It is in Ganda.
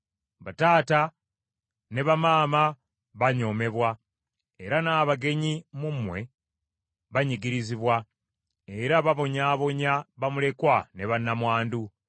Bataata ne bamaama banyoomebwa, era n’abagenyi mu mmwe banyigirizibwa, era babonyaabonya bamulekwa ne bannamwandu.